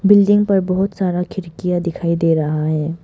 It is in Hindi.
बिल्डिंग पर बहुत सारा खिड़कियां दिखाई दे रहा है।